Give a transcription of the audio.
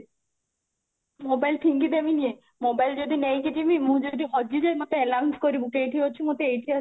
mobile ଫିଙ୍ଗି ଦେବିନି ଯେ mobile ମୁଁ ହାଡ଼ି ହଜି ଯିବି ମତେ announce କରିବୁ କି ମୁଁ ଏଇଠି ଅଛି ମତେ ଏଇଠି ଆ